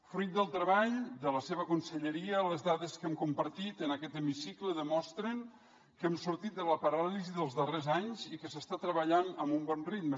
fruit del treball de la seva conselleria les dades que hem compartit en aquest hemicicle demostren que hem sortit de la paràlisi dels darrers anys i que s’està treballant amb un bon ritme